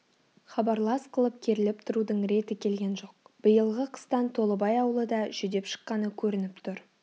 хабарлас қылып керіліп тұрудың реті келген жоқ биылғы қыстан толыбай аулы да жүдеп шыққаны көрініп тұр